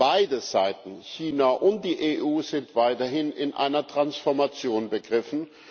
Beide Seiten China und die EU sind weiterhin in einer Transformation begriffen.